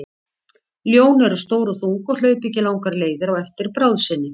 Ljón eru stór og þung og hlaupa ekki langar leiðir á eftir bráð sinni.